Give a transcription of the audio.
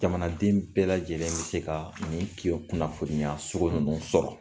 Jamanaden bɛɛ lajɛlen mi se ka nin ki kunnafoniya sugu ninnu sɔrɔ.